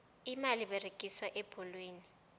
imali eberegiswa ebholweni